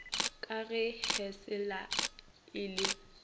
ka ge hellas e le